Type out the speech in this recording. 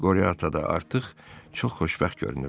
Qore Ata da artıq çox xoşbəxt görünürdü.